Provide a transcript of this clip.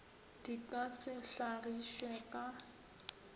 di ka se hlagišwe ka